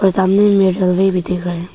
सामने में एक आदमी भी दिख रहा है।